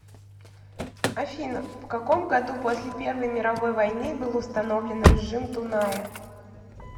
афина в каком году после первой мировой войны был установлен режим дуная